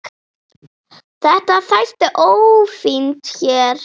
Þetta þætti ófínt hér.